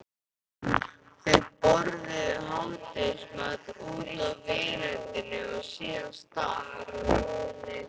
Þau borðuðu hádegismat úti á veröndinni og síðan stakk